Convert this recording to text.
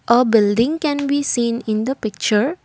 a building can we seen in the picture.